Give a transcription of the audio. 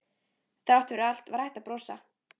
Þrátt fyrir allt var hægt að brosa.